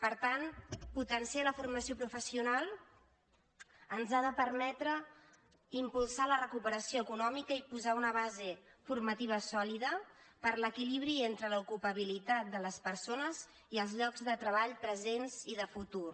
per tant potenciar la formació professional ens ha de permetre impulsar la recuperació econòmica i posar una base formativa sòlida per a l’equilibri entre l’ocu·pabilitat de les persones i els llocs de treball presents i de futur